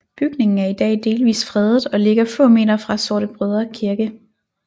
Bygningen er i dag delvis fredet og ligger få meter fra Sortebrødre Kirke